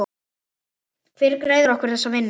Hver greiðir okkur þessa vinnu?